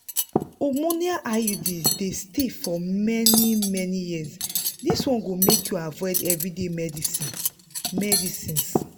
hormonal iud dey stay for many-many years this one go make you avoid everyday medicines. medicines.